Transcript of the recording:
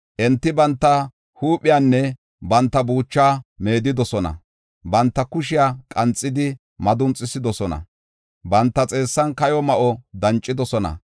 Enti banta huuphiyanne banta buuchaa meedidosona; banta kushiya qanxidi madunxisidosona; banta xeessan kayo ma7o dancidosona.